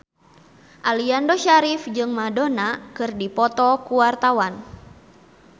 Aliando Syarif jeung Madonna keur dipoto ku wartawan